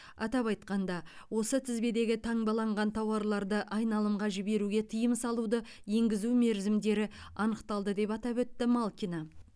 атап айтқанда осы тізбедегі таңбаланған тауарларды айналымға жіберуге тыйым салуды енгізу мерзімдері анықталды деп атап өтті малкина